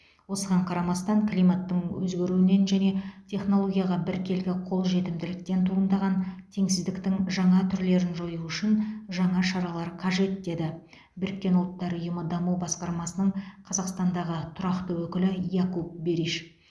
осыған қарамастан климаттың өзгеруінен және технологияға біркелкі қол жетімділіктен туындаған теңсіздіктің жаңа түрлерін жою үшін жаңа шаралар қажет деді біріккен ұлттар ұйымы даму басқармасының қазақстандағы тұрақты өкілі якуп бериш